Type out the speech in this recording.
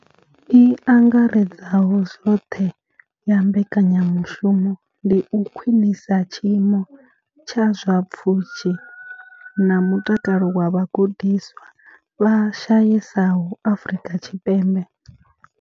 I angaredzaho zwoṱhe ya mbekanyamushumo ndi u khwinisa tshiimo tsha zwa pfushi na mutakalo wa vhagudiswa vha shayesaho Afrika Tshipembe.